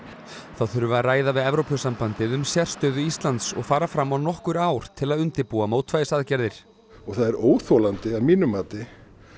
þá þurfi að ræða við Evrópusambandið um sérstöðu Íslands og fara fram á nokkur ár til að undirbúa mótvægisaðgerðir og það er óþolandi að mínu mati